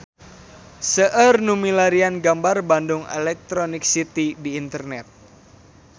Seueur nu milarian gambar Bandung Electronic City di internet